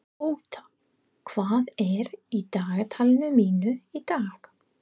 Ótta, hvað er í dagatalinu mínu í dag?